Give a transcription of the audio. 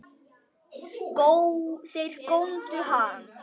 Þeir góndu á hann.